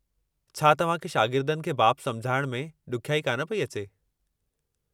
छा तव्हां खे शागिर्दनि खे बाब समुझाइण में ॾुखियाई कान पई अचे?